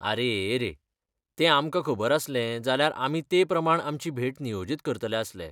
आरे रे, तें आमकां खबर आसलें जाल्यार आमी ते प्रमाण आमची भेट नियोजीत करतले आसले.